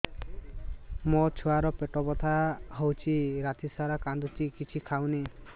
ମୋ ଛୁଆ ର ପେଟ ବଥା ହଉଚି ରାତିସାରା କାନ୍ଦୁଚି କିଛି ଖାଉନି